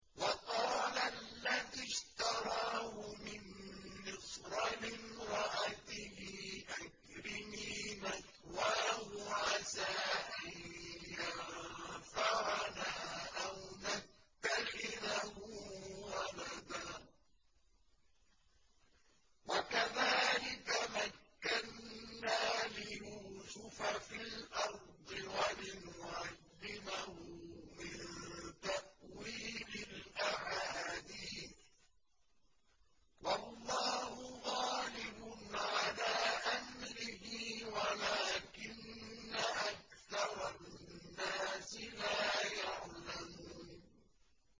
وَقَالَ الَّذِي اشْتَرَاهُ مِن مِّصْرَ لِامْرَأَتِهِ أَكْرِمِي مَثْوَاهُ عَسَىٰ أَن يَنفَعَنَا أَوْ نَتَّخِذَهُ وَلَدًا ۚ وَكَذَٰلِكَ مَكَّنَّا لِيُوسُفَ فِي الْأَرْضِ وَلِنُعَلِّمَهُ مِن تَأْوِيلِ الْأَحَادِيثِ ۚ وَاللَّهُ غَالِبٌ عَلَىٰ أَمْرِهِ وَلَٰكِنَّ أَكْثَرَ النَّاسِ لَا يَعْلَمُونَ